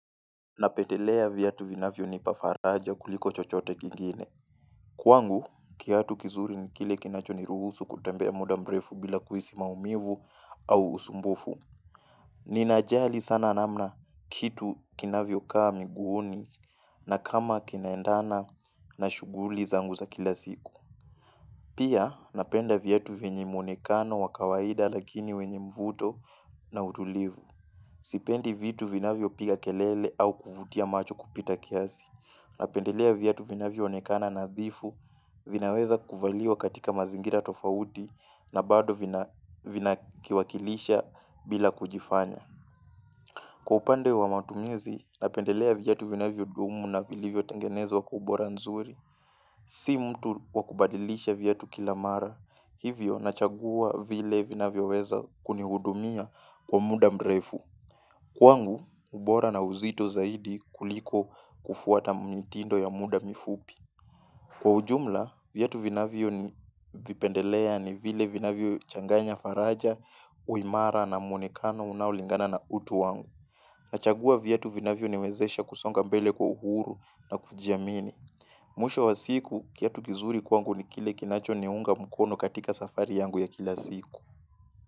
Napendelea viatu vinavyonipa faraja kuliko chochote kingine. Kwangu, kiatu kizuri ni kile kinacho niruhusu kutembea muda mrefu bila kuhisi maumivu au usumbufu. Ninajali sana namna kitu kinavyokaa miguuni na kama kinaendana na shughuli zangu za kila siku. Pia, napenda viatu vyenye mwonekano wa kawaida lakini wenye mvuto na utulivu. Sipendi vitu vinavyopiga kelele au kuvutia macho kupita kiasi. Napendelea viatu vinavyoonekana nadhifu vinaweza kuvaliwa katika mazingira tofauti na bado vinakiwakilisha bila kujifanya. Kwa upande wa matumizi napendelea viatu vinavyodumu na vilivyotengenezwa kwa ubora nzuri, si mtu wa kubadilisha viatu kila mara, hivyo nachagua vile vinavyoweza kunihudumia kwa muda mrefu. Kwangu, ubora na uzito zaidi kuliko kufuata mnitindo ya muda mifupi. Kwa ujumla, viatu vinavyovipendelea ni vile vinavyo changanya faraja, uimara na mwonekano unaulingana na utu wangu. Nachagua viatu vinavyoniwezesha kusonga mbele kwa uhuru na kujiamini. Mwisho wa siku, kiatu kizuri kwangu ni kile kinachoniunga mkono katika safari yangu ya kila siku.